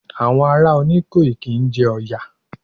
Àwọn ará Oníkòyí kí ń jẹ Ọ̀yà.